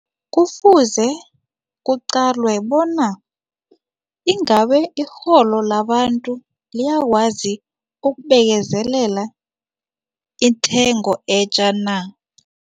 Kufuze kuqalwe bona ingabe irholo labantu liyakwazi ukubekezelela intengo etja na.